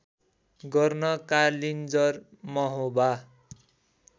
गर्न कालिन्जर महोबा